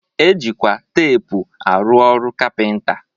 E jikwa teepu arụ ọrụ kapịnta